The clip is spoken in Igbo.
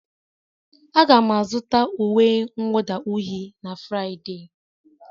Aga m azụta uwe mwụda uhie na Fraịde.